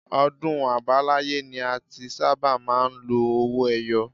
Ọdún àbáláyé ni a ti sábà máa ń lo owó ẹyọ